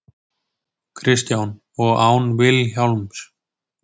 Kristján: Og án Vilhjálms?